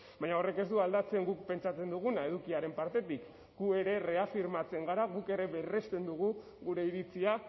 baina horrek ez du aldatzen guk pentsatzen duguna edukiaren partetik gu ere reafirmatzen gara guk ere berresten dugu gure iritzia